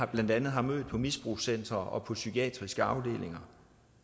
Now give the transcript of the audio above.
blandt andet har mødt på misbrugscentre og på psykiatriske afdelinger